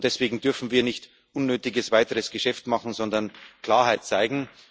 Deswegen dürfen wir nicht unnötiges weiteres Geschäft machen, sondern müssen Klarheit zeigen.